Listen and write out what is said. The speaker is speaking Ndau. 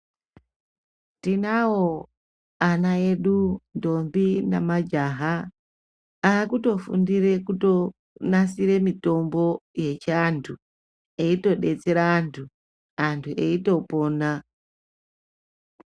Tinawo ana edu ndombi nemajaha akutofundira kunasira mitombo yechiantu eitodetsera antu Antu eitopona